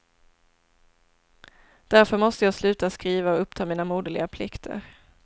Därför måste jag sluta skriva och uppta mina moderliga plikter.